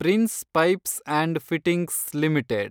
prince pipes and fittings limited